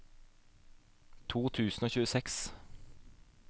to tusen og tjueseks